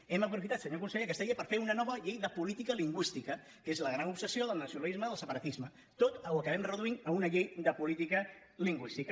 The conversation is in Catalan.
hem aprofitat senyor conseller aquesta llei per fer una nova llei de política lingüística que és la gran obsessió del nacionalisme del separatisme tot ho acabem reduint a una llei de política lingüística